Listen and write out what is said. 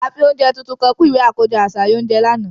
A fi ounjẹ titun kan kun iwe akojọ aṣayan ounjẹ làná.